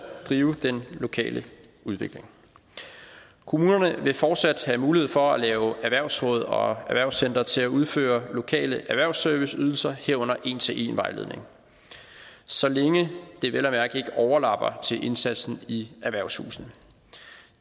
drive den lokale udvikling kommunerne vil fortsat have mulighed for at lave erhvervsråd og erhvervscentre til at udføre lokale erhvervsserviceydelser herunder en til en vejledning så længe det vel at mærke ikke overlapper indsatsen i erhvervshusene